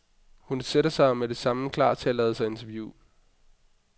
Hun sætter sig og er med det samme klar til at lade sig interviewe.